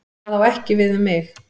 Það á ekki við um mig.